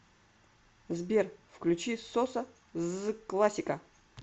сбер включи соса ззз классика